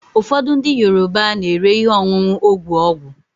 ụfọdụ ndị Yoruba na-ere ihe ọṅụṅụ ogwu ọgwụ